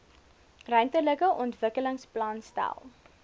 ruimtelike ontwikkelingsplan stel